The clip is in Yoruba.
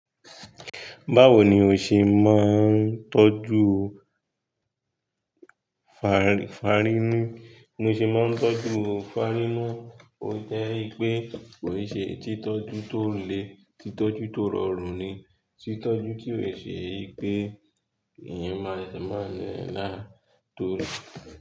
Báwo ni o ṣe máa ń tọ́jú fa-fárinú? Bí mo ṣe máa ń tọ́jú fárínú, ó jẹ́ pé kò ṣe títọ́jú tó le, títọ́jú tó rọrùn ni, títọ́jú kí ò ṣe pé ẹ̀yin máa máa lé e láì to rù.